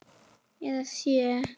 Eða sjö.